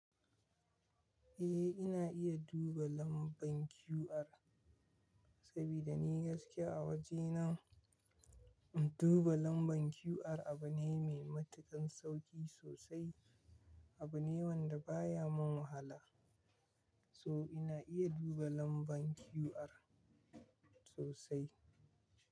Eh ina iya duba lambar QR sabida ni gaskiya a wajena duba lambar QR abu ne mai matuƙan sauƙi sosai. Abu ne wanda baya mun wahala, so ina iya duba lambar QR sosai.